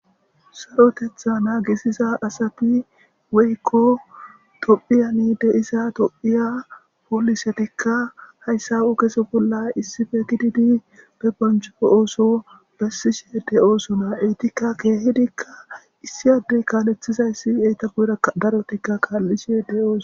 Sarotetha nagisiza asati woykon tophiya diiza tophiya polisetika asati haysa ogeza bollan issippe gididi be boncho oso besishe de'osona kehidika issi adey kalethizaysi darotika kalishe dosona